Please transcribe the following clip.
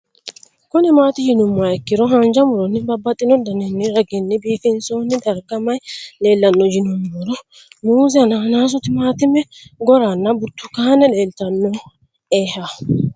Kuni mati yinumoha ikiro hanja muroni babaxino daninina ragini bifinson darga mayi leelanno yinumaro muuze hanannisu timantime gooranna buurtukaane leelitoneha